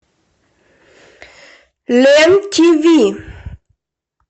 лен тв